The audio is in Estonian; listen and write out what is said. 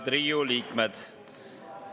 Head Riigikogu liikmed!